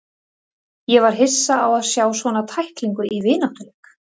Ég var hissa á að sjá svona tæklingu í vináttuleik.